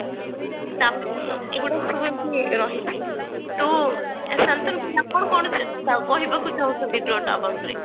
ତା ଏଗୁଡାକ ସବୁ ଏମତି ରହିଛି ତ ଶାନ୍ତନୁ ଆପଣ କଣ କ କହିବାକୁ ଚାହୁଞ୍ଚନ୍ତି Drought about ରେ